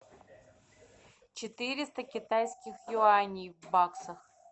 четыреста китайских юаней в баксах